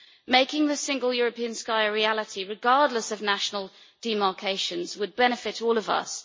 Making the Single European Sky a reality, regardless of national demarcations, would benefit all of us.